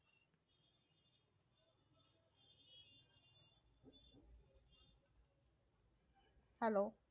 Hello